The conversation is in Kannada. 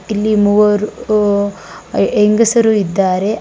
ಇಲ್ಲಿ ಮೂವರು ಊ ಹೆಂಗಸರು ಇದ್ದಾರೆ.